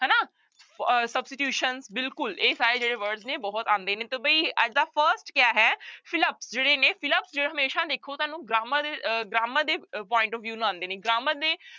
ਅਹ substitution ਬਿਲਕੁਲ ਇਹ ਸਾਰੇ ਜਿਹੜੇ word ਨੇ ਬਹੁਤ ਆਉਂਦੇ ਨੇ ਤੇ ਬਈ ਅੱਜ ਦਾ first ਕਿਆ ਹੈ fill up ਜਿਹੜੇ ਨੇ fill up ਜੋ ਹਮੇਸ਼ਾ ਦੇਖੋ ਤੁਹਾਨੂੰ grammar ਅਹ grammar ਦੇ point of view ਨਾਲ ਆਉਂਦੇ ਨੇ grammar ਦੇ